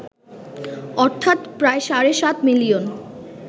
অর্থাৎ প্রায় সাড়ে সাত মিলিয়ন